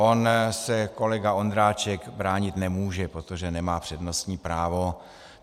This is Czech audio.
On se kolega Ondráček bránit nemůže, protože nemá přednostní právo.